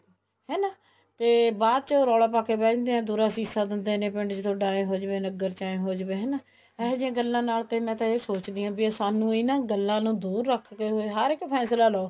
ਹਨਾ ਤੇ ਬਾਅਦ ਚ ਉਹ ਰੋਲਾ ਪਾਕੇ ਬੈਠ ਜਾਂਦੇ ਆ ਦੁਰਾ ਸੀਸਾਂ ਦਿੰਦੇ ਨੇ ਪਿੰਡ ਚ ਥੋਡਾ ਏਵੇਂ ਹੋ ਜਾਵੇ ਨਗਰ ਚ ਏਵੇਂ ਹੋ ਜਾਵੇ ਹਨਾ ਇਹੋ ਜਿਹੀਆਂ ਗੱਲਾਂ ਨਾਲ ਤਾਂ ਮੈਂ ਇਹ ਸੋਚਦੀ ਹਾਂ ਵੀ ਸਾਨੂੰ ਇਹਨਾ ਗੱਲਾਂ ਨੂੰ ਦੁਰ ਰੱਖਦੇ ਹੋਏ ਹਰ ਇੱਕ ਫੈਸਲਾ ਲਿਓ